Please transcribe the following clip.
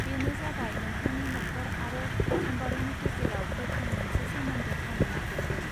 बेनो जाबाय नोंथांनि न'खर आरो सम्बारूनि गेजेराव गोखों मोनसे सोमोन्दो खानो नागिरदों.